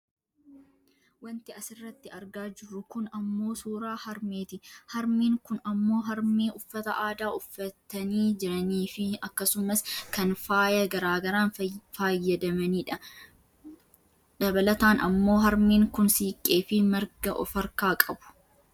wanti asirratti argaa jirru kun ammoo suuraa harmeeti. harmeen kun ammoo harmee uffata aadaa uffatanii jiraniifi , akkasumas kan faaya gara garaan faayyadamidha. dabalatan ammoo harmeen kun siiqqeefi marga of harkaa qabu.